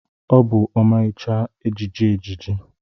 Ọ bụ ọmarịcha ejiji ejiji.